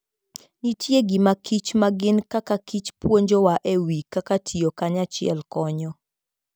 Nitie gima kichma gin kaka kichpuonjowa e wi kaka tiyo kanyachiel konyo.